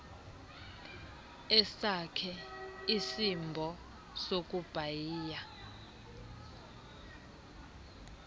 esakhe isimbo sokubhaia